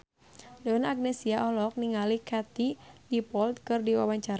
Donna Agnesia olohok ningali Katie Dippold keur diwawancara